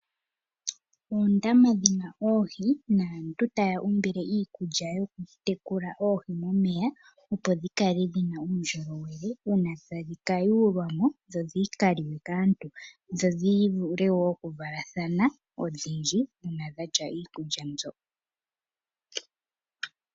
Oondama dhi na oohi naantu taya umbile iikulya yokutekula oohi momeya, opo dhi kale dhi na uundjolowele uuna tadhi ka yulwa mo dho dhi ka liwe kaantu, dho dhi vule wo okuvalathana odhindji uuna dha lya iikulya mbyoka.